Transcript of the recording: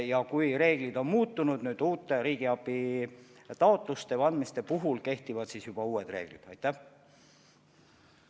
Ja kui reegleid muudetakse, siis need kehtivad juba uute riigiabi taotluste puhul.